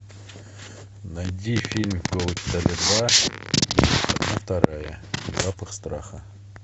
найди фильм голый пистолет два одна вторая запах страха